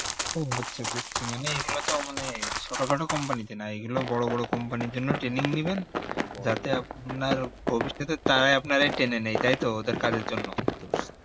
মানে এগুলোতো মানে ছোট খাটো company তে না এই গুলো বড়ো বড়ো company এর জন্য training নিবেন যাতে আপনার ভবিষ্যতে তারাই আপনাকে টেনে নেই তাই তো ওদের কাজের জন্য